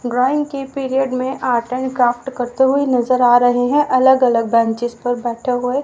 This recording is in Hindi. ड्रॉइंग के पीरियड में आर्ट एंड क्राफ्ट करते हुए नजर आ रहे हैं अलग अलग बेंचेस पर बैठे हुए--